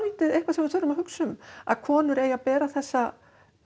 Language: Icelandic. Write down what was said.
eitthvað sem við þurfum að hugsa um að konur eigi að bera þessa